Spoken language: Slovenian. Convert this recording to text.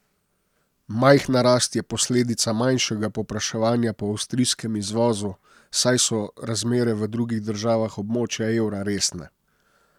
Majhna rast je posledica manjšega povpraševanja po avstrijskem izvozu, saj so razmere v drugih državah območja evra resne.